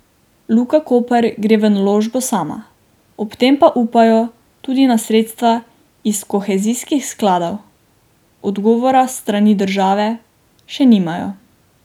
Luka Koper gre v naložbo sama, ob tem pa upajo tudi na sredstva iz kohezijskih skladov, odgovora s strani države še nimajo.